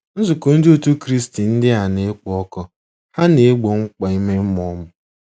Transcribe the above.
Nzukọ Ndị Otú Kristi ndị a na-ekpo ọkụ, ha na-egbo mkpa ime mmụọ m.